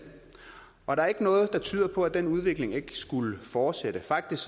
og der er ikke noget der tyder på at den udvikling ikke skulle fortsætte faktisk